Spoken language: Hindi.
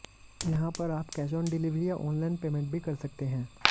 यहाँ पर आप कैश ऑन डिलीवरी या ऑनलाइन पेमेंट भी कर सकते हैं